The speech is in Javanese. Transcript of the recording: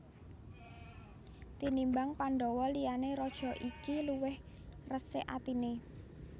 Tinimbang Pandhawa liyane raja iki luwih resik atine